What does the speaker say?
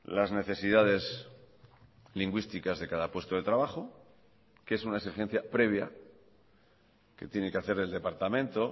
las necesidades lingüísticas de cada puesto de trabajo que es una exigencia previa que tiene que hacer el departamento